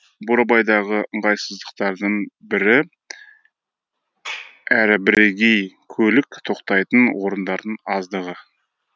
бурабайдағы ыңғайсыздықтардың бірі әрі бірегей көлік тоқтайтын орындардың аздығы